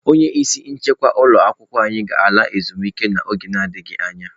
Onye isi nchekwa ụlọ akwụkwọ anyị ga-ala ezumike nka n'oge adịghị anya.